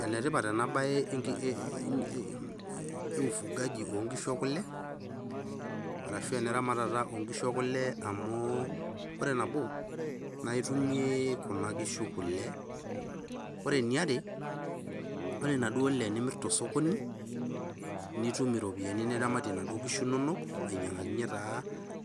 Enetipat ena bae e ufugaji oonkishu ekule ashu eneramatata oonkishu ekule amu ore entoki nayaki Kuna nkishu kule . Ore eniare ore naduo ale nimirr tosokoni ,nitum iropiyian niramatie inaduoo nkishu inonok ainyangakinyie taa